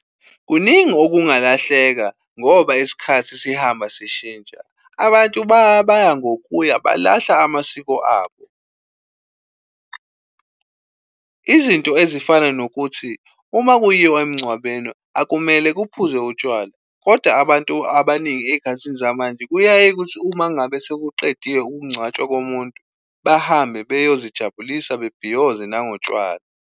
Kuningi okungalahleka ngoba isikhathi sihamba sishintsha. Abantu baya baya ngokuya balahla amasiko abo. Izinto ezifana nokuthi uma kuyiwa emngcwabeni akumele kuphuzwe utshwala, kodwa abantu abaningi ezikhathini zamanje kuyaye kuthi uma ngabe sekuqedwe ukungcwatshwa komuntu, bahambe bayozijabulisa bebhiyoze nangotshwala.